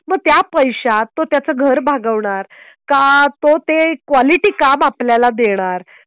मग त्या पैशात तो त्याचं घर भागवणार का तो ते क्वालिटी काम आपल्याला देणार.